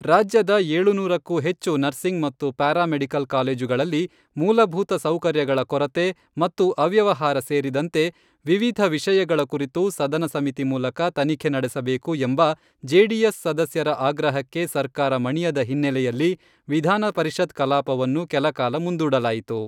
ರಾಜ್ಯದ ಏಳುನೂರಕ್ಕೂ ಹೆಚ್ಚು ನರ್ಸಿಂಗ್ ಮತ್ತು ಪ್ಯಾರಾ ಮೆಡಿಕಲ್ ಕಾಲೇಜುಗಳಲ್ಲಿ, ಮೂಲಭೂತ ಸೌಕರ್ಯಗಳ ಕೊರತೆ ಮತ್ತು ಅವ್ಯವಹಾರ ಸೇರಿದಂತೆ ವಿವಿಧ ವಿಷಯಗಳ ಕುರಿತು ಸದನ ಸಮಿತಿ ಮೂಲಕ ತನಿಖೆ ನಡೆಸಬೇಕು ಎಂಬ ಜೆಡಿಎಸ್ ಸದಸ್ಯರ ಆಗ್ರಹಕ್ಕೆ ಸರ್ಕಾರ ಮಣಿಯದ ಹಿನ್ನೆಲೆಯಲ್ಲಿ ವಿಧಾನ ಪರಿಷತ್ ಕಲಾಪವನ್ನು ಕೆಲಕಾಲ ಮುಂದೂಡಲಾಯಿತು.